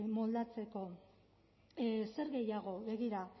moldatzeko zer gehiago begira